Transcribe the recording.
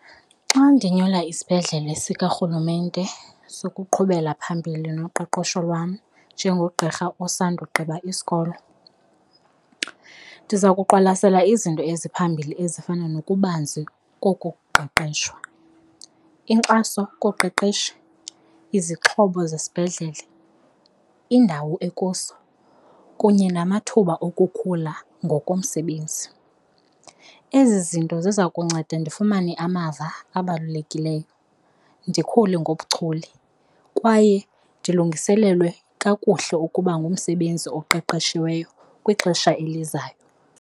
Xa ndinyula isibhedlele sikarhulumente sokuqhubela phambili noqoqosho lwam njengogqirha osandugqiba isikolo, ndiza kuqwalaselwa izinto eziphambili ezifana nokubanzi koku kuqeqeshwa. Inkxaso koqeqesho, izixhobo zesibhedlele, indawo ekuso kunye namathuba okukhula ngokomsebenzi, ezi zinto ziza kunceda ndifumane amava abalulekileyo, ndikhule ngobuchule kwaye ndilungiselelwe kakuhle ukuba ngumsebenzi oqeqeshiweyo kwixesha elizayo.